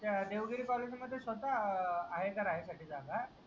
त्या देवगिरी कॉलेज मध्ये स्वतःहा आहे का राहायसाठी जागा.